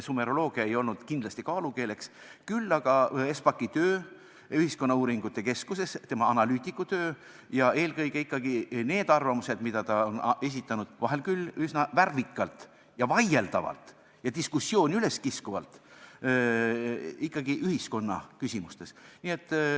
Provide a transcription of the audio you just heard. Sumeroloogia ei olnud kindlasti kaalukeeleks, küll aga Espaki töö Ühiskonnauuringute Instituudis, tema analüütikutöö, ja eelkõige need arvamused, mis ta on esitanud – vahel küll üsna värvikalt ja vaieldavalt ja diskussiooni üleskiskuvalt – ühiskonnaküsimustes.